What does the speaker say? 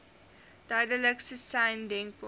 duidelikste sein denkbaar